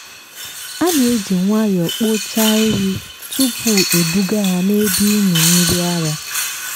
a na-eji nwayọọ kpochaa ehi tupu ebuga ha n’ebe ịmị mmiri ara.